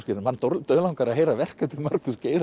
mann dauðlangar að heyra verk eftir Markús Geirharð